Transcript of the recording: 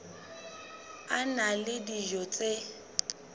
a na le dijo tse